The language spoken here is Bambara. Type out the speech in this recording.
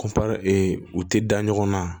u tɛ da ɲɔgɔnna